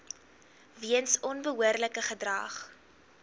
weens onbehoorlike gedrag